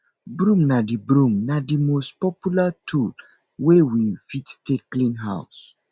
broom na di broom na di most popular tool wey we fit take clean house